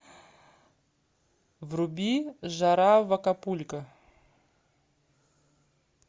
вруби жара в акапулько